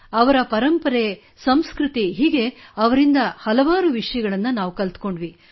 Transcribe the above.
ಅವರ ಪರಂಪರೆ ಮತ್ತು ಸಂಸ್ಕøತಿ ಹೀಗೆ ಅವರಿಂದ ಹಲವಾರು ವಿಷಯಗಳನ್ನು ಕಲಿತೆವು